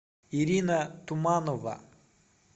ирина туманова